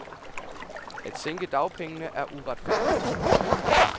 At sænke dagpengene er uretfærdigt.